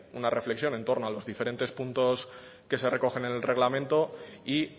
una reflexión en torno a los diferentes puntos que se recogen en el reglamento y